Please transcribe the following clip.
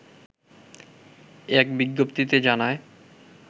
এক বিজ্ঞপ্তিতে জানায়